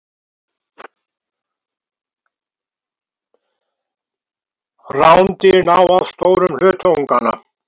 rándýr ná oft stórum hluta unganna